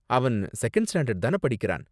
அவன் second standard தான படிக்கறான்?